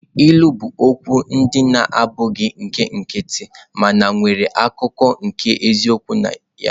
Ilu bụ okwu ndị na-abụghị nke nkịtị mana nwere akụkụ nke eziokwu na ya.